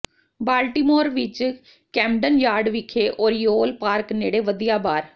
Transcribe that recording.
Baltimore ਵਿੱਚ Camden Yard ਵਿਖੇ Oriole Park ਨੇੜੇ ਵਧੀਆ ਬਾਰ